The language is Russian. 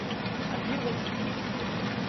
артур васильевич